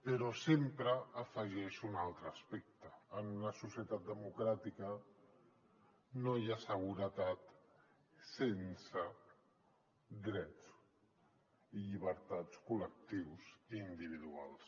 però sempre afegeixo un altre aspecte en una societat democràtica no hi ha seguretat sense drets i llibertats col·lectius individuals